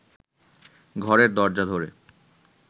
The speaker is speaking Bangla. ঘরের দরজা ধরে